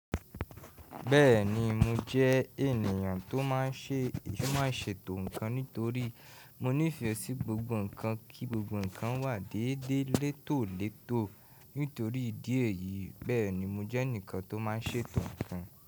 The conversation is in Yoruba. Bẹ́ẹ̀ni, mo jẹ́ ènìyàn tó máa ń ṣe ètò ńkan nítorí mo nífẹ̀ẹ́ sí gbogbo ńkan kí gbogbo ńkan wà déédéé létòlètò. Nítorí ìdí èyí, bẹ́ẹ̀ ni mo jẹ́ ẹnìkan tó máa ń ṣe ètò ńkan.